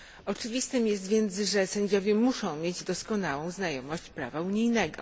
Oczywistym jest więc, że sędziowie muszą mieć doskonałą znajomość prawa unijnego.